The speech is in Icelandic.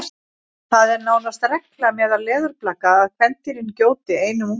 það er nánast regla meðal leðurblaka að kvendýrin gjóti einum unga